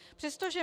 Přestože